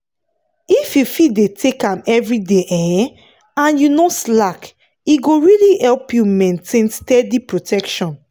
if you fit dey take am every day um and you no slack e go really help you maintain steady protection.